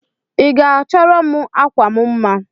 Iga achọrọm akwam mma?